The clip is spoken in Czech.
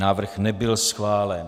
Návrh nebyl schválen.